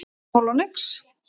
Hann er bara núll og nix